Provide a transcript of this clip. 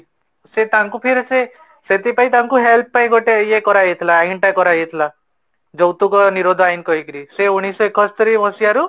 ସେ ତାଙ୍କୁ ଫିର ସେ ସେଥିପାଇଁ ତାଙ୍କୁ help ପାଈଁ ଗୋଟେ ଇଏଟା କରା ଯାଇଥିଲା କର ଯାଇଥିଲା ଯୌତୁକ ନିରୋଧ ଆଇନ କହିକିରି ସେ ଉଣିଷ ଏକସ୍ତୁରି ମସିହାରୁ